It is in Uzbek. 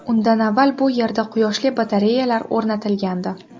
Undan avval bu yerda quyoshli batareyalar o‘rnatilgandi.